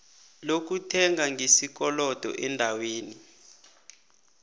lokuthenga ngesikolodo eendaweni